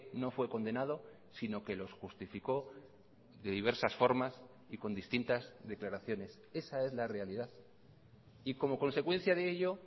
no fue condenado sino que los justificó de diversas formas y con distintas declaraciones esa es la realidad y como consecuencia de ello